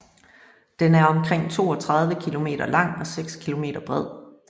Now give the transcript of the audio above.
Den er omkring 32 km lang og 6 km bred